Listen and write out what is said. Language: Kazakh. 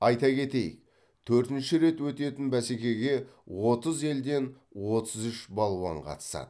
айта кетейік төртінші рет өтетін бәсекеге отыз елден отыз үш балуан қатысады